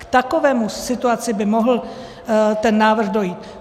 K takové situaci by mohl ten návrh dojít.